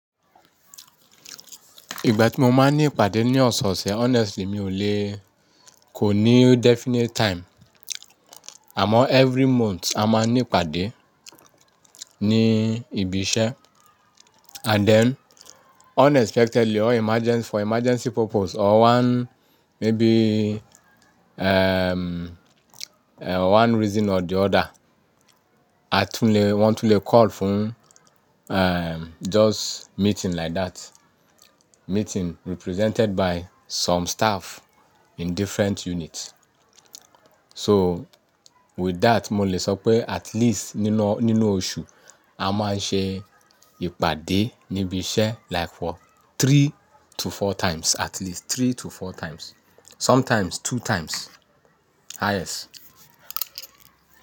Ìgbà tí mo máa ń ní ìpàdé ní ọ̀sẹ̀ ọ̀sẹ̀ honestly mi ò lé kò ní definite time. Àmọ́ every month a máa ní ìpàdé ní ibi iṣẹ́ and then unexpectedly or emergence-- for emergency purpose or one maybe, ehm, one reason or the other, a tún lè, wọn tún lè call fún, ehm, just meeting like that. Meeting represented by some staff in different units. So with that mo lè sọ pé at least nínú, nínú oṣù a máa ń ṣe ìpàdé ní ibi iṣẹ́ like for three to four times at least three to four times, sometimes two times highest.